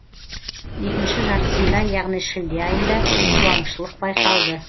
екінші жартысында яғни шілде айында қуаңшылық байқалды